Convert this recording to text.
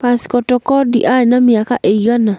Pascal Tokodi arĩ na mĩaka ĩigana